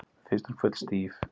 Mér finnst hún full stíf